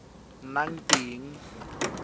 e e ka nnang teng